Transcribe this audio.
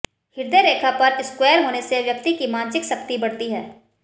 हृदय रेखा पर स्क्वेयर होने से व्यक्ति की मानसिक शक्ति बढ़ती है